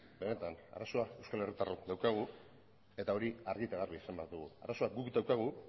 benetan arazoa euskal herritarrok daukagu eta hori argi eta garbi esan behar dugu arazoa guk daukagu